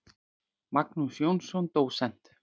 Magnús Jónsson, dósent.